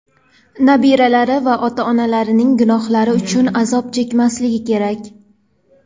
nabiralari ota-onalarining gunohlari uchun azob chekmasligi kerak.